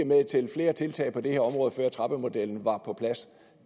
med til flere tiltag på det her område før trappemodellen var på plads